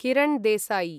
Kiran Desai